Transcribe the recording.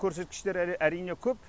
көрсеткіштер әрине көп